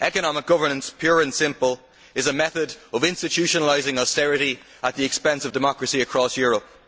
Economic governance pure and simple is a method of institutionalising austerity at the expense of democracy across Europe.